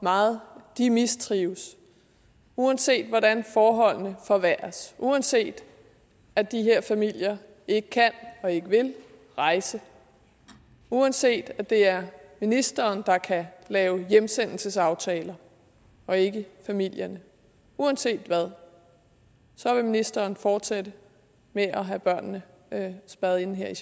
meget de mistrives uanset hvordan forholdene forværres uanset at de her familier ikke kan og ikke vil rejse uanset at det er ministeren der kan lave hjemsendelsesaftaler og ikke familierne uanset hvad så vil ministeren fortsætte med at have børnene spærret inde her